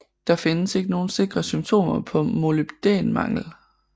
Der findes ikke nogle sikre symptomer på molybdæn mangel